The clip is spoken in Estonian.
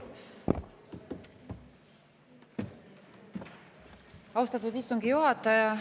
Austatud istungi juhataja!